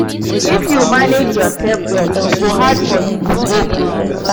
If you manage yoursef well, e go hard for you to go broke.